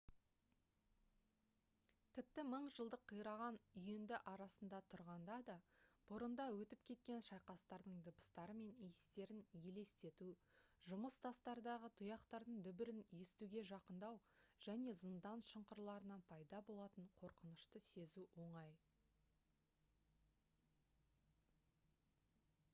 тіпті мың жылдық қираған үйінді арасында тұрғанда да бұрында өтіп кеткен шайқастардың дыбыстары мен иістерін елестету жұмыс тастардағы тұяқтардың дүбірін естуге жақындау және зындан шұңқырларынан пайда болатын қорқынышты сезу оңай